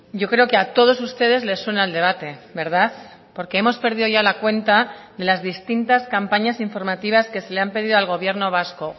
yo creo que a todos ustedes les suena el debate verdad porque hemos perdido ya la cuenta de las distintas campañas informativas que se le han pedido al gobierno vasco